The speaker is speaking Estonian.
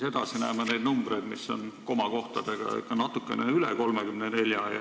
Edasi näeme komakohtadega numbreid, mis on ikka natukene suuremad kui 34.